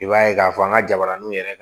I b'a ye k'a fɔ an ka jabaraniw yɛrɛ